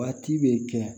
Waati bɛ kɛ